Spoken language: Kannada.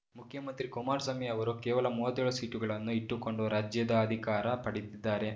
ಮುಖ್ಯಮಂತ್ರಿ ಕುಮಾರಸ್ವಾಮಿ ಅವರು ಕೇವಲ ಮೂವತ್ತೇಳು ಸೀಟುಗಳನ್ನು ಇಟ್ಟುಕೊಂಡು ರಾಜ್ಯದ ಅಧಿಕಾರ ಪಡೆದಿದ್ದಾರೆ